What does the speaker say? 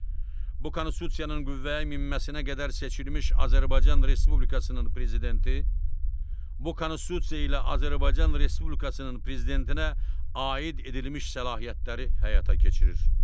Bu Konstitusiyanın qüvvəyə minməsinə qədər seçilmiş Azərbaycan Respublikasının Prezidenti bu Konstitusiya ilə Azərbaycan Respublikasının Prezidentinə aid edilmiş səlahiyyətləri həyata keçirir.